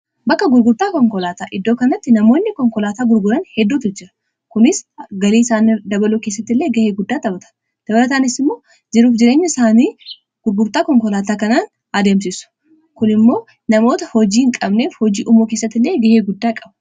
bakka gurgurtaa konkolaataa iddoo kanatti namoonni konkolaataa gurguran hedduutu jira kunis galii isaani dabaluu keessatti illee gahee guddaa taphata dabalataanis immoo jiruuf jireenya isaanii gurgurtaa konkolaataa kanaan adeemsisu kun immoo namoota hojii hin qabneef hojii uumuu keessatti illee gahee guddaa qabu